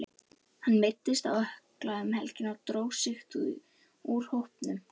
Hann meiddist á ökkla um helgina og dró sig því úr hópnum.